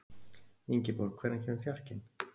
Ingiborg, hvenær kemur fjarkinn?